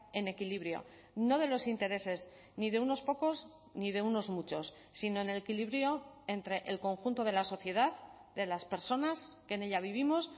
en equilibrio no de los intereses ni de unos pocos ni de unos muchos sino en el equilibrio entre el conjunto de la sociedad de las personas que en ella vivimos